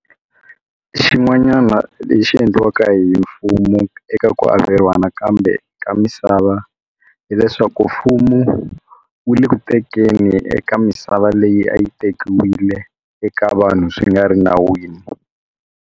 Xin'wanyana lexi endliwaka hi mfumo eka ku averiwa nakambe ka misava hileswaku mfumo wu le ku tekeni eka misava leyi a yi tekiwile eka vanhu swi nga ri nawini.